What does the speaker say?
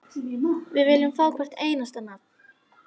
Við viljum fá hvert einasta nafn.